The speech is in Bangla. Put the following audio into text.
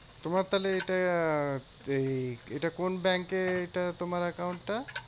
তোমার তাহলে এটা আহ এই এটা কোন ব্যাঙ্কে এটা তোমার account টা?